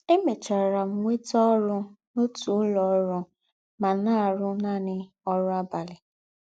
Emechara m nweta ọrụ n’ọtụ ụlọ ọrụ ma na - arụ naanị ọrụ abalị.